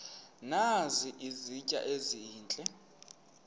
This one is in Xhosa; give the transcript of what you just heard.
nazi izitya ezihle